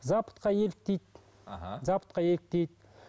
западқа еліктейді аха западқа еліктейді